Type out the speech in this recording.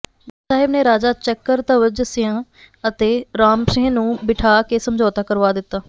ਗੁਰੂ ਸਾਹਿਬ ਨੇ ਰਾਜਾ ਚਕਰਧਵਜ ਸਿੰਹ ਅਤੇ ਰਾਮ ਸਿੰਹ ਨੂੰ ਬਿਠਾ ਕੇ ਸਮਝੌਤਾ ਕਰਵਾ ਦਿਤਾ